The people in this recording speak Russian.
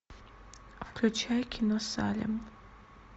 включай кино салем